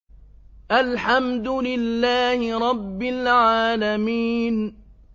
الْحَمْدُ لِلَّهِ رَبِّ الْعَالَمِينَ